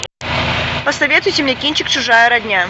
посоветуйте мне кинчик чужая родня